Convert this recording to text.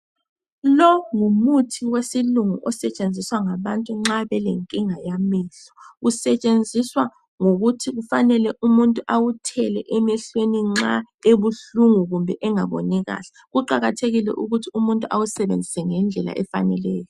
Lo ngumuthi wesilungu osetshenziswa ngabantu nxa belenkinga yamehlo. Usetshenziswa ngokuthi kufanele umuntu awuthele emehlweni nxa ebuhlungu kumbe engaboni kahle. Kuqakathekile ukuthi umuntu awusebenzise ngendlela efaneleyo.